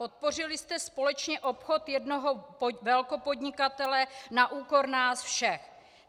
Podpořili jste společně obchod jednoho velkopodnikatele na úkor nás všech.